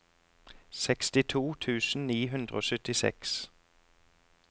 sekstito tusen ni hundre og syttiseks